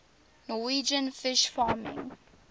norwegian fish farming